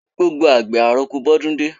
Gbogbo àgbẹ̀, àroko bọ́ dún dé.